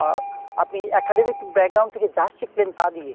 আহ আপনি academic থেকে যা শিখলেন তা দিয়ে।